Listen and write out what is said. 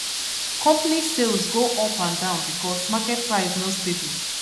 company sales go up and down because market price no stable